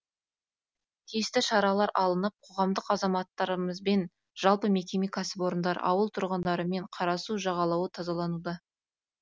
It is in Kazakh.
тиісті шаралар алынып қоғамдық азаматтарымызбен жалпы мекеме кәсіпорындар ауыл тұрғындарымен қарасу жағалауы тазалануда